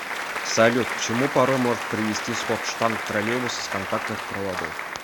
салют к чему порой может привести сход штанг троллейбуса с контактных проводов